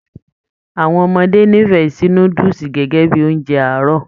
Àwọn ọmọdé n'ifẹ sí núdúsí gẹgẹ bíi oúnjẹ àárọ̀.